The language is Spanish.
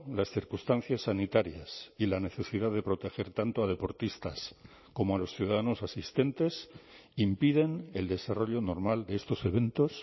las circunstancias sanitarias y la necesidad de proteger tanto a deportistas como a los ciudadanos asistentes impiden el desarrollo normal de estos eventos